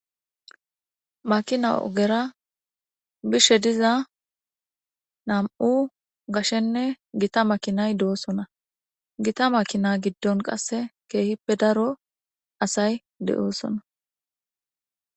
Makina ogera biza nami'u gitanne gashe makinay doosona. Gita makina giddon qasse keehippe daro asay de'osona.